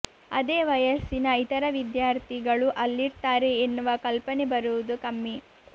ಅದೇ ವಯಸ್ಸಿನ ಇತರ ವಿದ್ಯಾರ್ಥಿಗಳೂ ಅಲ್ಲಿರ್ತಾರೆ ಎನ್ನುವ ಕಲ್ಪನೆ ಬರುವುದು ಕಮ್ಮಿ